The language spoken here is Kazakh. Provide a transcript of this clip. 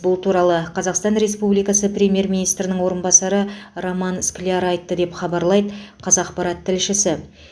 бұл туралы қазақстан республикасы премьер министрінің орынбасары роман скляр айтты деп хабарлайды қазақпарат тілшісі